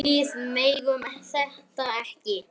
Við megum þetta ekki!